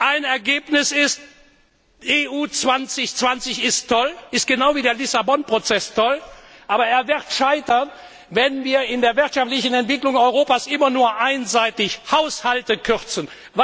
Ein Ergebnis ist EU 2020 ist genau wie der Lissabon Prozess toll, aber es wird scheitern, wenn wir in der wirtschaftlichen Entwicklung Europas immer nur einseitig Haushalte